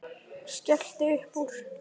Skellti upp úr.